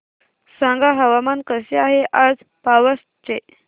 सांगा हवामान कसे आहे आज पावस चे